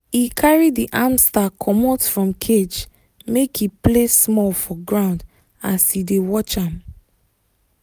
he carry the hamster comot from cage make e play small for ground as he dey watch am.